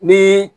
Ni